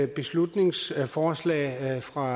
beslutningsforslag fra